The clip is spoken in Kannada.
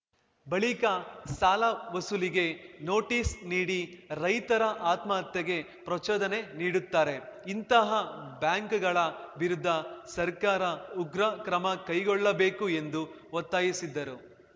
ಬಳಿಕ ಸಾಲ ವಸೂಲಿಗೆ ನೋಟಿಸ್‌ ನೀಡಿ ರೈತರ ಆತ್ಮಹತ್ಯೆಗೆ ಪ್ರಚೋದನೆ ನೀಡುತ್ತಾರೆ ಇಂತಹ ಬ್ಯಾಂಕ್‌ಗಳ ವಿರುದ್ಧ ಸರ್ಕಾರ ಉಗ್ರ ಕ್ರಮ ಕೈಗೊಳ್ಳಬೇಕು ಎಂದು ಒತ್ತಾಯಿಸಿದರು